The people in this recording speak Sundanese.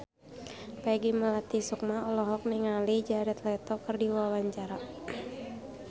Peggy Melati Sukma olohok ningali Jared Leto keur diwawancara